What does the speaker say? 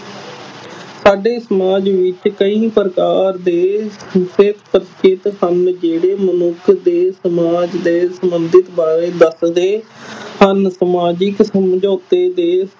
ਸਾਡੇ ਸਮਾਜ ਵਿੱਚ ਕਈ ਪ੍ਰਕਾਰ ਦੇ ਹਨ ਜਿਹੜੇ ਮਨੁੱਖ ਦੇ ਸਮਾਜ ਦੇ ਸੰਬੰਧ ਬਾਰੇ ਦੱਸਦੇ ਹਨ ਸਮਾਜਿਕ ਸਮਝੋਤੇ ਦੇ